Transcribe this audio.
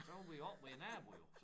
Men så var vi jo oppe ved æ nabo jo